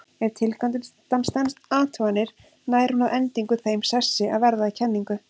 Ef tilgátan stenst athuganir nær hún að endingu þeim sessi að verða að kenningu.